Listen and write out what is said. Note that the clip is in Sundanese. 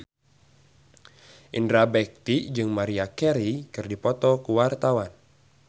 Indra Bekti jeung Maria Carey keur dipoto ku wartawan